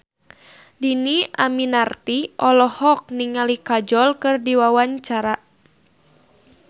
Dhini Aminarti olohok ningali Kajol keur diwawancara